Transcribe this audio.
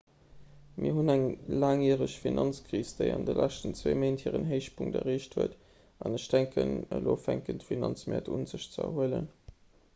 mir hunn eng laangjäreg finanzkris déi an de leschten zwee méint hiren héichpunkt erreecht huet an ech denken elo fänken d'finanzmäert un sech ze erhuelen